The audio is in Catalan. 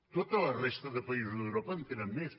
tota la resta de països d’europa en tenen més